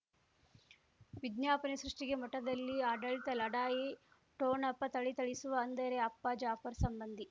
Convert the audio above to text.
ವಿಜ್ಞಾಪನೆ ಸೃಷ್ಟಿಗೆ ಮಠದಲ್ಲಿ ಆಡಳಿತ ಲಢಾಯಿ ಠೋಣಪ ಥಳಥಳಿಸುವ ಅಂದರೆ ಅಪ್ಪ ಜಾಫರ್ ಸಂಬಂಧಿ